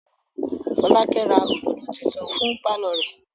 Fọ́lákẹ́ ra òdòdó tuntun fún pálọ̀ rẹ̀.